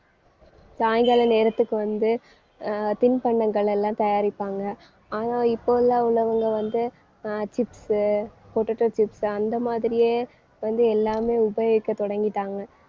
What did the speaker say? சாயங்கால நேரத்துக்கு வந்து அஹ் தின்பண்டங்கள் எல்லாம் தயாரிப்பாங்க ஆனா இப்போ உள்ளவங்க வந்து அஹ் chips உ potato chips அந்த மாதிரியே வந்து எல்லாமே உபயோகிக்க தொடங்கிட்டாங்க.